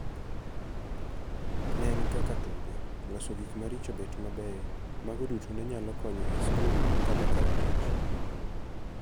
Ne en kaka tugo! Loso gik maricho bet mabeyo, mago duto nenyalo konyo esikul kata kar tich.